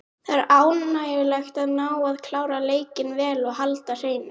Það er ánægjulegt að ná að klára leikinn vel og halda hreinu.